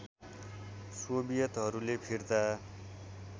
सोवियतहरूले फिर्ता